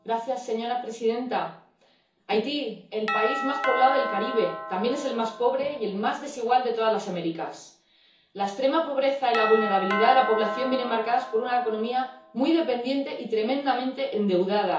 Señora presidenta, Haití, el país más poblado del Caribe, también es el más pobre y el más desigual de todas las Américas. La extrema pobreza y la vulnerabilidad de la población vienen marcadas por una economía muy dependiente y tremendamente endeudada.